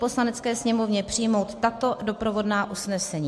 Poslanecké sněmovně přijmout tato doprovodná usnesení: